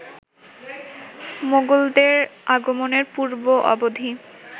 মোগলদের আগমনের পূর্ব-অবধি